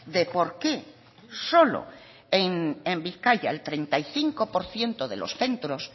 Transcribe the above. de por qué solo en bizkaia el treinta y cinco por ciento de los centros